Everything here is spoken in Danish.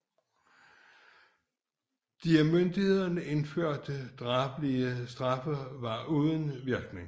De af myndighederne indførte drabelige straffe var uden virkning